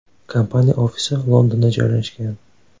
Kompaniya ofisi Londonda joylashgan.